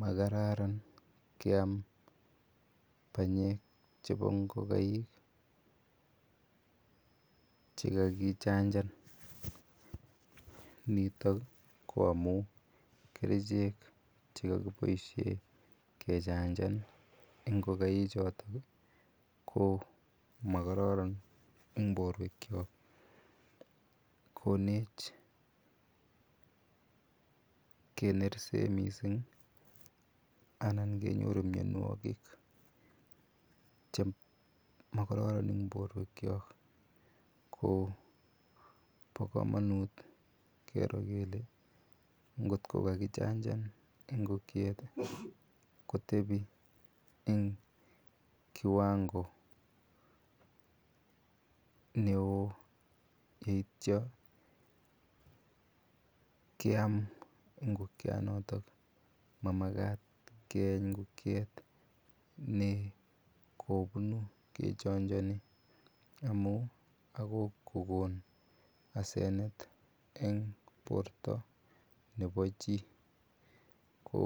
Makararan ngiam panyek chebo ngokaik chekakichanjan, nitok ko amun kerichek chekokiboishe ingokai choton ko mokororon en borwekiok konech kenersen mising anan kenyoru mionwokik chemokororon en borwekiok ko bokomonut kero kelee ngot ko kakichanjan ingokiet kotebi en kiwango neoo yeitio kiam ingokianoton, mamakat keeny ingokiet nekobunu kachonjoni amun akoi kokon asenet eng borto nebo chii ko